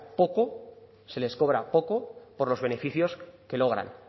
poco se les cobra poco por los beneficios que logran